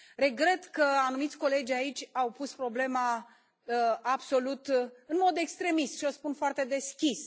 Regret că anumiți colegi aici au pus problema absolut în mod extremist și o spun foarte deschis.